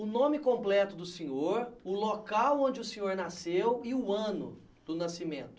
O nome completo do senhor, o local onde o senhor nasceu e o ano do nascimento.